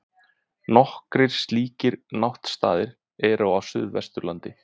Nokkrir slíkir náttstaðir eru á Suðvesturlandi.